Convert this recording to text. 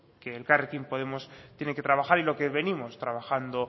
que elkarrekin podemos tiene que trabajar y lo que venimos trabajando